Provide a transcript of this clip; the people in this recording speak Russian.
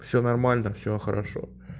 всё нормально всё хорошо